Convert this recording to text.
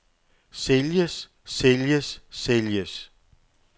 sælges sælges sælges